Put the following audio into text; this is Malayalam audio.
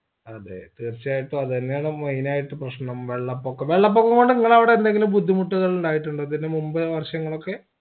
അതെ തീർച്ചയായിട്ടും അതെന്നെയാണ് main ആയിട്ട് പ്രശ്‌നം വെള്ളപൊക്കൊ വെള്ളപ്പൊക്കംകൊണ്ട് നിങ്ങളവിടെ എന്തെങ്കിലും ബുദ്ധിമുട്ടകളുണ്ടായിട്ടുണ്ടോ ഇതിന് മുമ്പേത് വർഷങ്ങളൊക്കെ